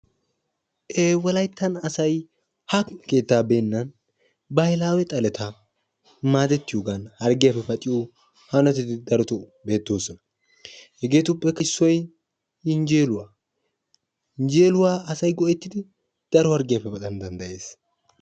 baahilaawe xaletta maadetiyoogan hargiyaappe paxxanawu danddayetees. hegeetuppe issoy yinjeeluwa.